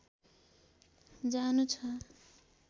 जानु छ